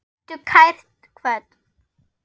Vertu kært kvödd.